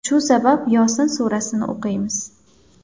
Shu sabab Yosin surasini o‘qiymiz.